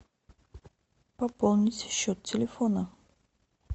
пополнить счет телефона